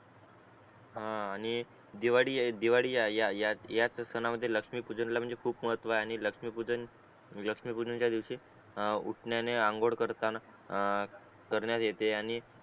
हा आणि दिवाळी ए दिवाळी या आय या याच सनामध्ये लक्ष्मी पूजनाला म्हणजे खूप महत्व आहे आणि लक्ष्मी पूजन लक्ष्मी पूजन चा दिवशी आ उठण्याने आंघोळ करताना आ आ करण्यात येते